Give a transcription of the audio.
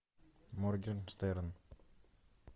моргенштерн